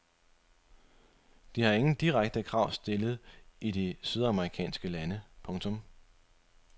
De har ingen direkte krav stillet i de sydamerikanske lande. punktum